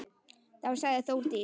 Þá sagði Þórdís: